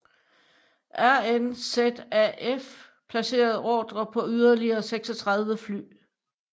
RNZAF placerede ordrer på yderligere 36 fly